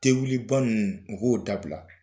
Te wuli ba ninnu o k'o dabila.